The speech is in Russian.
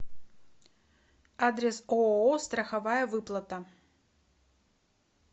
адрес ооо страховая выплата